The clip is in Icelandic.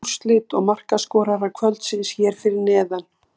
Öll úrslit og markaskorarar kvöldsins hér fyrir neðan: